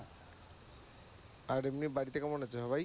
আর এমনি বাড়িতে কেমন আছে সবাই?